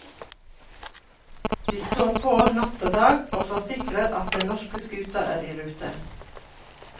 De står på natt og dag, og forsikrer at den norske skuta er i rute.